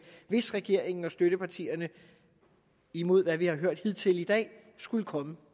hvis regeringen og støttepartierne imod hvad vi har hørt hidtil i dag skulle komme